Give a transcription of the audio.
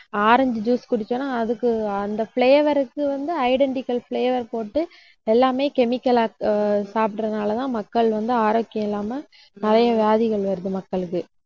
orange juice குடிச்சோம்ன்னா அதுக்கு, அந்த flavour க்கு வந்து, identical flavour போட்டு எல்லாமே chemical ஆ ஆஹ் சாப்பிடறதுனாலதான் மக்கள் வந்து ஆரோக்கியம் இல்லாமல் நிறைய வியாதிகள் வருது மக்களுக்கு.